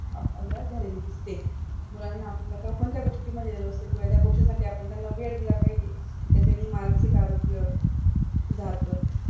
आप्ल्याला झालेली दिसते मुलांना आपल्याला कोणत्या गोष्टीमधें रस आहे तो कळायला आपण त्यांना वेळ दिला पाहिजे त्याच्यांनी मानसिक आरोग्य सुधारत